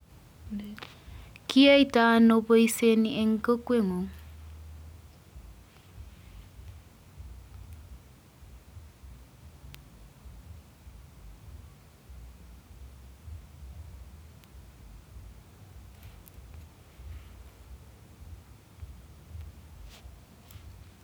Kiyoito ano boisioni en kokweng'ung?